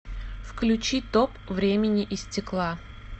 включи топ времени и стекла